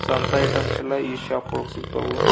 So ಅಂತ items ಗಳೆಲ್ಲ ಈ ಶಾಪ್ ಒಳಗ್ ಸಿಗ್ತಾವ್.